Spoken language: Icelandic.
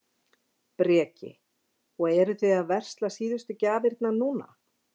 Breki: Og eruð þið að versla síðustu gjafirnar núna?